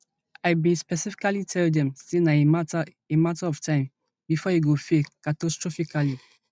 i bin specifically tell dem say na a mata a mata of time before e go fail catastrophically